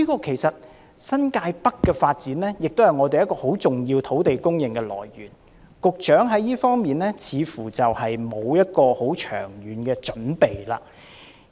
其實，新界北的發展也是很重要的土地供應來源，局長在這方面卻似乎沒有很長遠的準備。